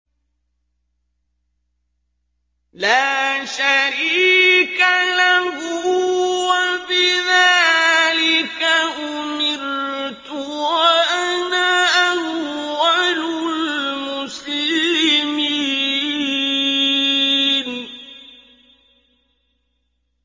لَا شَرِيكَ لَهُ ۖ وَبِذَٰلِكَ أُمِرْتُ وَأَنَا أَوَّلُ الْمُسْلِمِينَ